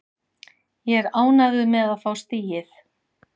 Ég er ánægður með að fá stigið.